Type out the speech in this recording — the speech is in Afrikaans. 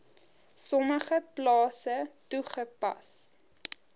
sommige plase toegepas